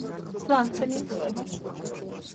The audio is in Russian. сланцами